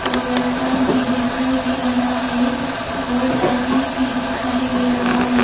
और रास्ता भी दिखाई दे रहा है और लाठी भी दिखाई दे रहा है।